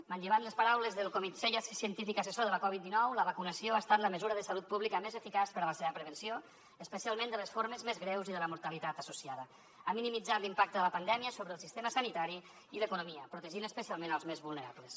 manllevant les paraules del comitè científic assessor de la covid dinou la vacunació ha estat la mesura de salut pública més eficaç per a la seva prevenció especialment de les formes més greus i de la mortalitat associada ha minimitzat l’impacte de la pandèmia sobre el sistema sanitari i l’economia protegint especialment els més vulnerables